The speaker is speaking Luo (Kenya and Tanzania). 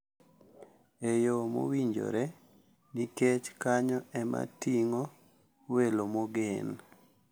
E yo mowinjore nikech kanyo ema ting`o welo mogen.